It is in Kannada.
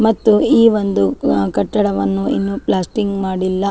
ಮತ್ತು ಈ ಒಂದು ಆ ಕಟ್ಟಡವನ್ನು ಇನ್ನೂ ಪ್ಲಾಸ್ಟರಿಂಗ್ ಮಾಡಿಲ್ಲ.